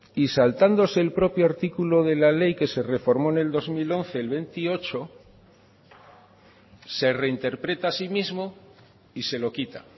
y saltándose el propio artículo de la ley que se reformó en el dos mil once el veintiocho se reinterpreta a sí mismo y se lo quita